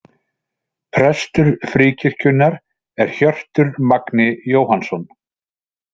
Prestur Fríkirkjunnar er Hjörtur Magni Jóhannsson.